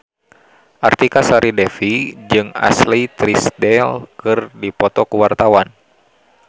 Artika Sari Devi jeung Ashley Tisdale keur dipoto ku wartawan